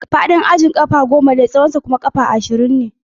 Faɗin ajin ƙafa goma ne, tsawonsa kuma ƙafa ashirin.